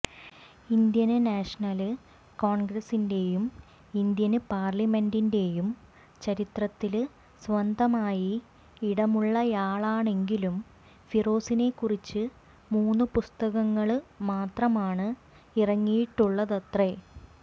Indian national കോണ്ഗ്രസ്സിന്റെയും Indian പാര്ലമെന്റിന്റെയും ചരിത്രത്തില് സ്വന്തമായി ഇടമുള്ളയാളാണെങ്കിലും ഫിറോസിനെക്കുറിച്ച് മൂന്ന് പുസ്തകങ്ങള് മാത്രമാണ് ഇറങ്ങിയിട്ടുള്ളതത്രേ